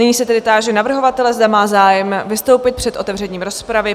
Nyní se tedy táži navrhovatele, zda má zájem vystoupit před otevřením rozpravy?